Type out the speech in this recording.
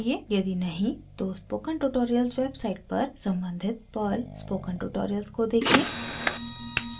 यदि नहीं तो स्पोकन ट्यूटोरियल वेबसाइट पर सम्बंधित पर्ल स्पोकन ट्यूटोरियल्स देखें